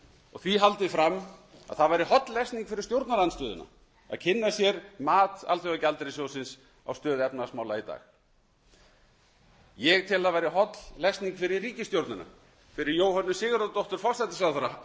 og því haldið fram að það væri holl lesning fyrir stjórnarandstöðuna að kynna sér mat alþjóðagjaldeyrissjóðsins á stöðu efnahagsmála í dag ég tel að það væri holl lesning fyrir ríkisstjórnina fyrir jóhönnu sigurðardóttur hæstvirtur forsætisráðherra